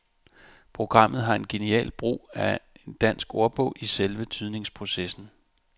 Programmet har en genial brug af en dansk ordbog i selve tydningsprocessen.